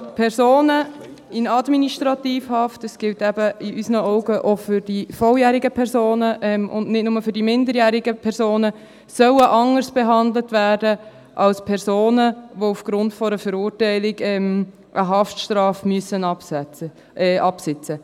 Personen in Administrativhaft – das gilt eben in unseren Augen auch für die volljährigen und nicht nur für die minderjährigen Personen – sollen anders behandelt werden als Personen, die aufgrund einer Verurteilung eine Haftstrafe absitzen müssen.